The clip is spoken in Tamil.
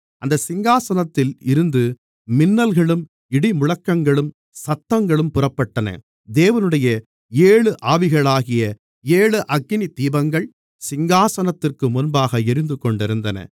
அந்தச் சிங்காசனத்தில் இருந்து மின்னல்களும் இடிமுழக்கங்களும் சத்தங்களும் புறப்பட்டன தேவனுடைய ஏழு ஆவிகளாகிய ஏழு அக்கினி தீபங்கள் சிங்காசனத்திற்கு முன்பாக எரிந்துகொண்டிருந்தன